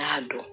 N y'a dɔn